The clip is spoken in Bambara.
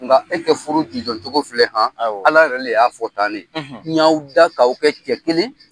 Nka e ka furu jujɔcogo filɛ han, awɔ. Ala yɛrɛ le y'a fɔ tan N y'aw dan k'aw kɛ cɛ kelen ye.